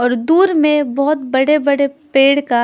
और दूर में बहुत बड़े बड़े पेड़ का--